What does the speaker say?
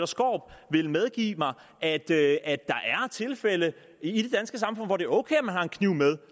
skaarup vil medgive at der er tilfælde i det danske samfund hvor det er ok at man har en kniv med